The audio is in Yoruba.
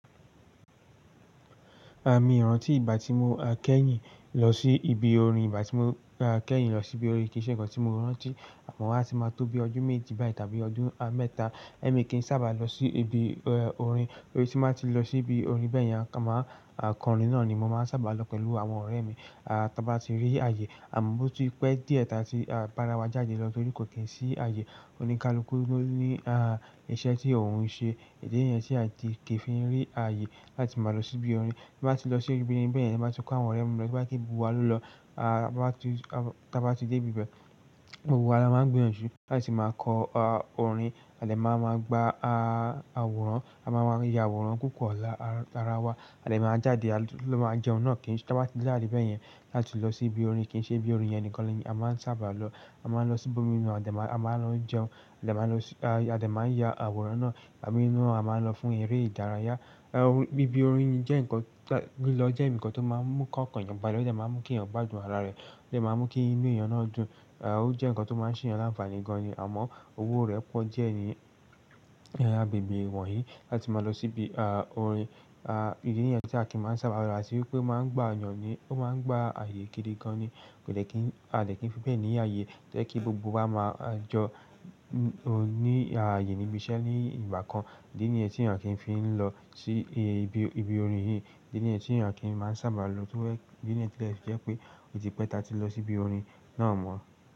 Mi rántí ìgbà tí mo kẹ́yìn lọ sí ibi orin, ìgbà tí mo kẹ́yìn lọ sí ibi orin kì í ṣe ǹkan tí mo rántí. Àmọ́ a ti máa tó bí ọdún méjì báyìí tàbí ọdún mẹ́ta ẹ́mi kì í sábà lọ sí ibi orin, torí tí máa ti lọ sí ibi orin bẹ́ẹ̀ yẹn, a máa kọrin náà ni mo máa ń sábà lọ pẹ̀lú àwọn ọ̀rẹ́ mi. A, ta bá ti rí ààyè, àmọ́ bó ti pẹ́ díẹ̀ tàbí ti bára wa jáde lọ torí kò kí ń sí ààyè, oníkalukú ló ní a, iṣẹ́ tí òun ń ṣe. Ìdí nìyẹn tí a kì í fi rí ààyè láti máa lọ sí ibi orin. Tí n bá ti lọ sí ibi orin bẹ́ẹ̀ yẹn, bá ti pọ̀ àwọn ọ̀rẹ́ mi lọ, bá ti bu wa ló lọ, a bá ti, tí a bá ti dé ibi bẹ́ẹ̀, gbogbo wa a máa ń gbé òṣù láti máa kọ orin àti máa máa gba àwòrán. A máa ń ya àwòrán kókó lára wa àti máa jáde ló máa jẹun náà kí n, tí a bá ti jáde bẹ́ẹ̀ yẹn láti lọ sí ibi orin kì í ṣe ibi orin yẹn nìkan lọ yín. A máa ń sábà lọ, a máa ń lọ sí ibi inú, a máa ń lọ jẹun àti máa ń lọ sí, àti máa ń ya àwòrán náà, àbí inú a máa ń lọ fún eré ìdárayá. Orin, ibi orin jẹ́ ǹkan, lílọ jẹ́ ǹkan tó máa ń mú kí ọkàn èèyàn gba lọ́jọ́, máa ń mú kí èèyàn gbádùn ara rẹ̀, ó sì máa ń mú kí inú èèyàn náà dùn. O jẹ́ ǹkan tó máa ń se eyan láǹfàní gan-an ni àmọ́ owó rẹ̀ pọ̀ díẹ̀ ni agbègbè wọ̀nyí láti máa lọ sí ibi orin. A, ìdí nìyẹn tí a kin máa ń sábà lọ ra sí wípé máa ń gbá èèyàn ni, ó máa ń gbá ààyè gidi gan-an ni. Kò de kí n, a lè kí n fi bẹ́ẹ̀ ní ààyè, jẹ́ kí gbogbo wa máa jọ oní ààyè níbi iṣẹ́ ní ìgbà kan. Ìdí nìyẹn tí èèyàn kì í fi ń lọ sí ibi orin yìí. Ìdí nìyẹn tí èèyàn kì í máa sábà lọ, torí pé ìdí nìyẹn tí ẹ fi jẹ́ pé ò ti pẹ́ tà tí lọ sí ibi orin náà mọ́.